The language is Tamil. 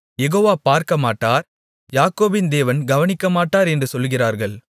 யெகோவா பார்க்கமாட்டார் யாக்கோபின் தேவன் கவனிக்கமாட்டார் என்று சொல்லுகிறார்கள்